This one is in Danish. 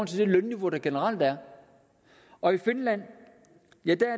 til det lønniveau der generelt er og i finland